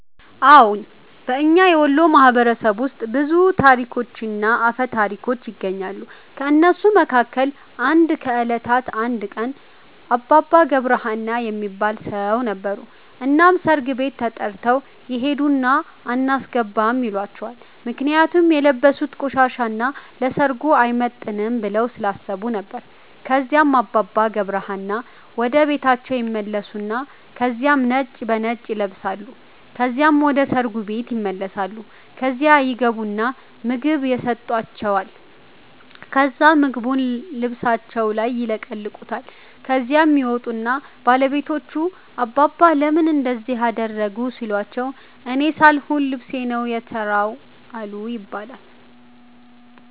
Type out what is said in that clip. አዎን። በእኛ የወሎ ማህበረሰብ ውስጥ ብዙ ታሪኮችና አፈ ታሪኮች ይነገራሉ። ከእነሱ መካከል አንዱ ከእለታት አንድ ቀን አባባ ገብረ ሀና የሚባል ሠው ነበሩ። እናም ሠርግ ቤት ተተርተው ይሄድና አናስገባም ይሏቸዋል ምክንያቱም የለበሡት ቆሻሻ እና ለሠርጉ አይመጥንም ብለው ስላሠቡ ነበር። ከዚያም አባባ ገብረ ሀና ወደ ቤታቸው ይመለሳሉ ከዚያም ነጭ በነጭ ይለብሳሉ ከዚያም ወደ ሠርጉ ቤት ይመለሳሉ። ከዚያ ይገቡና ምግብ የሠጣቸዋል ከዛ ምግቡን ልብሣቸውን ይለቀልቁታል። ከዚያም ይመጡና ባለቤቶቹ አባባ ለምን እንደዚህ አደረጉ ሲሏቸው እኔ ሣልሆን ልብሤ ነው የተራው አሉ ይባላል።